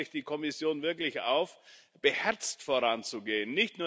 Da fordere ich die Kommission wirklich auf, beherzt voranzugehen.